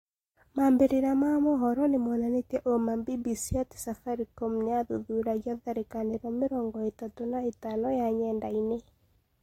Maambĩrĩria ma mũhoro nimonanĩtie uuma BBC ati Safaricom nĩyathuthuragia tharĩkanĩro mĩrongo itatũ na ĩtano ya nyendaine